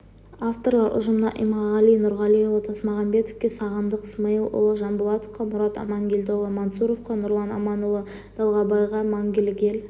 авторлар ұжымына иманғали нұрғалиұлы тасмағамбетовке сағындық смаилұлы жамболатовқа мұрат амангелдіұлы мансұровқа нұрлан аманұлы далбайға мәңгілік ел